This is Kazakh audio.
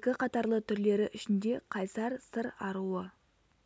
екі қатарлы түрлері ішінде қайсар сыр аруы